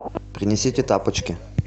принесите тапочки